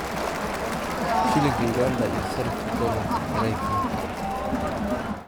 Shilinka Uganda iyo sarifka doolarka Maraykanka